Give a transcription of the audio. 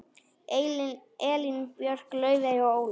Elín Björk, Laufey og Ólöf.